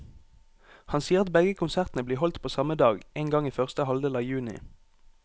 Han sier at begge konsertene blir holdt på samme dag, en gang i første halvdel av juni.